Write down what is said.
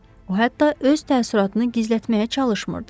O hətta öz təəssüratını gizlətməyə çalışmırdı.